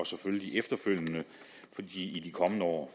selvfølgelig efterfølgende i de kommende år